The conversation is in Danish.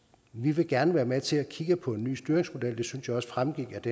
vi vil gerne være med til at kigge på en ny styringsmodel det synes jeg også fremgik af